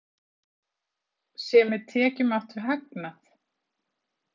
Sé með tekjum átt við hagnað?